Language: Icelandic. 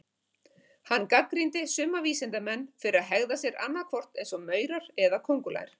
Hann gagnrýndi suma vísindamenn fyrir að hegða sér annað hvort eins og maurar eða köngulær.